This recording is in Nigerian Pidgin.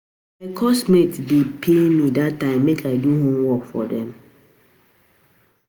My course mates dey pay me dat time make I do homework for dem